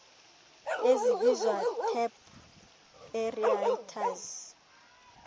ezibizwa tap aerators